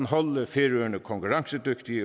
holde færøerne konkurrencedygtigt i